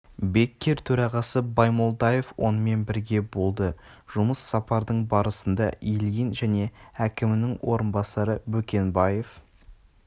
беккер төрағасы баймолдаев онымен бірге болды жұмыс сапардың барысында ильин және әкімінің орынбасары бөкенбаев